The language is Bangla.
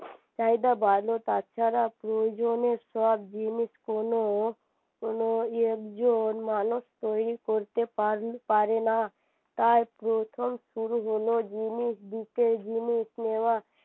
চাহিদা বাড়লো তাছাড়া প্রয়োজনের সব জিনিস কোনো কোনো একজন মানুষ তৈরী করতে পারে পারেনা তাই প্রথম শুরু হলো জিনিস দিতে জিনিস নেওয়া